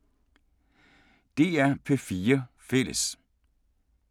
DR P4 Fælles